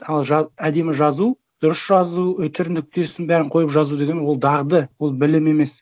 ал әдемі жазу дұрыс жазу үтір нүктесін бәрін қойып жазу деген ол дағды ол білім емес